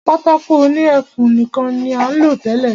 Pátákó òní ẹfun nìkan ní à ń lò tẹ́lẹ̀.